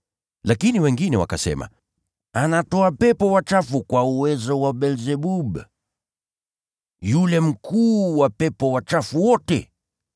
Lakini wengine wakasema, “Anatoa pepo wachafu kwa uwezo wa Beelzebuli, yule mkuu wa pepo wachafu wote.”